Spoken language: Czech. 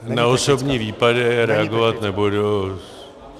Na osobní výpady reagovat nebudu.